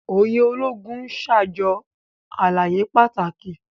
Òye Ológùn n ṣajọ àlàyé pàtàkì.